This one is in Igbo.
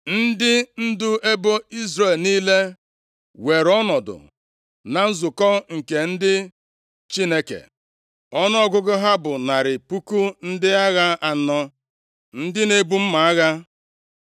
Ndị ndu ebo Izrel niile weere ọnọdụ na nzukọ nke ndị Chineke, ọnụọgụgụ ha bụ narị puku ndị agha anọ, ndị na-ebu mma agha.